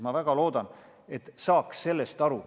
Ma väga seda loodan, selleks et ma saaksin sellest aru.